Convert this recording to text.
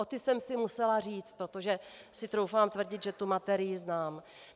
O ty jsem si musela říct, protože si troufám tvrdit, že tu materii znám.